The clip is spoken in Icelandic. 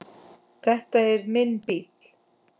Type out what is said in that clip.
Þetta er minn bíll.